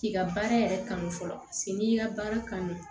K'i ka baara yɛrɛ kanu fɔlɔ paseke n'i y'i ka baara kanu